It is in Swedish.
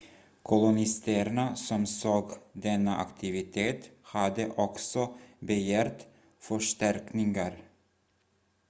kolonisterna som såg denna aktivitet hade också begärt förstärkningar